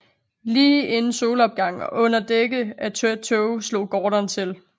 Lige inden solopgang og under dække af tæt tåge slog Gordon til